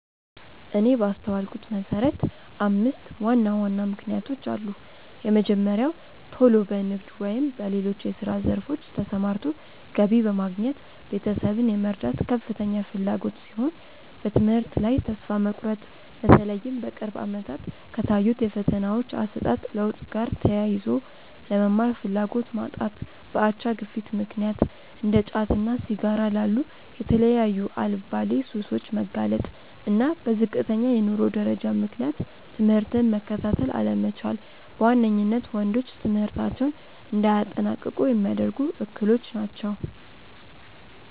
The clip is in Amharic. እኔ ባስተዋልኩት መሰረት አምስት ዋና ዋና ምክንያቶች አሉ። የመጀመሪያው ቶሎ በንግድ ወይም በሌሎች የስራ ዘርፎች ተሰማርቶ ገቢ በማግኘት ቤተሰብን የመርዳት ከፍተኛ ፍላጎት ሲሆን፤ በትምህርት ላይ ተስፋ መቁረጥ(በተለይም በቅርብ አመታት ከታዩት የፈተናዎች አሰጣጥ ለውጥ ጋር ተያይዞ)፣ ለመማር ፍላጎት ማጣት፣ በአቻ ግፊት ምክንያት እንደ ጫትና ሲጋራ ላሉ የተለያዩ አልባሌ ሱሶች መጋለጥ፣ እና በዝቅተኛ የኑሮ ደረጃ ምክንያት ትምህርትን መከታተል አለመቻል በዋነኝነት ወንዶች ትምህርታቸውን እንዳያጠናቅቁ ሚያደርጉ እክሎች ናቸው።